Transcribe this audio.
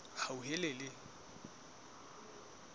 hauhelele